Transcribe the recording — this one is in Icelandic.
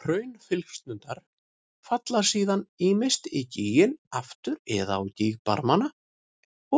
Hraunflygsurnar falla síðan ýmist í gíginn aftur eða á gígbarmana